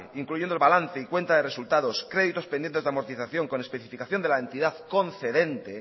incluyendo el balance y cuenta de resultados créditos pendientes de amortización con especificación de la entidad concedente